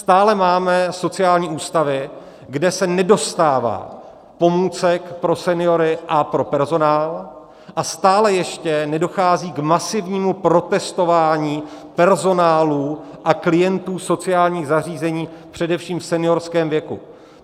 Stále máme sociální ústavy, kde se nedostává pomůcek pro seniory a pro personál, a stále ještě nedochází k masivnímu protestování personálu a klientů sociálních zařízení především v seniorském věku.